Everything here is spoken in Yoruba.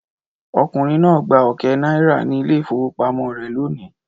Ọkùnrin náà gba ọ̀kẹ́ náírà ní ilé-ìfowópamọ́sí rẹ̀ lónìí.